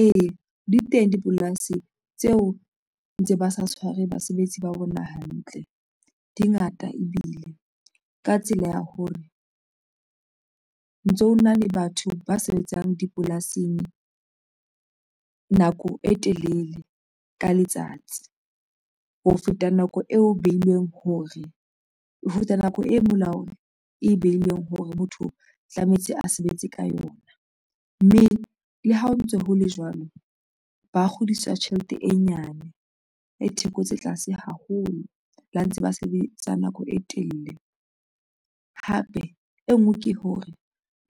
Ee, di teng dipolasi tseo ntse ba sa tshware basebetsi ba bona hantle dingata ebile ka tsela ya hore ntso na le batho ba sebetsang dipolasing nako e telele ka letsatsi ho feta nako eo behilweng hore o ruta nako e molaong e behilweng hore motho tlametse a sebetse ka yona, mme le ha o ntso ho le jwalo, ba kgodiswa tjhelete e nyane e theko tse tlase haholo, le ha ntse ba sebetsa nako e telele hape e nngwe ke hore